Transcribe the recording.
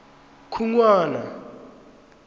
khunwana